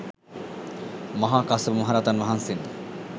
මහා කස්සප මහ රහතන් වහන්සේම